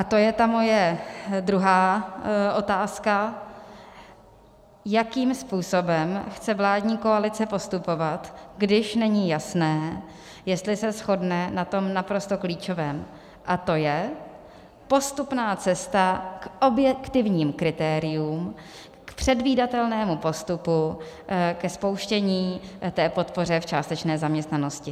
A to je ta moje druhá otázka: jakým způsobem chce vládní koalice postupovat, když není jasné, jestli se shodne na tom naprosto klíčovém, a to je postupná cesta k objektivním kritériím, k předvídatelnému postupu ke spouštění té podpory v částečné zaměstnanosti.